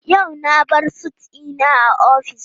Yau na bar sut dina a office.